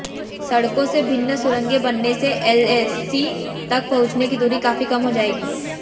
सड़कों से भिन्न सुरंगें बनने से एलएसी तक पहुंचने की दूरी काफी कम हो जाएगी